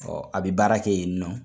Ɔ a bɛ baara kɛ yen nin nɔ.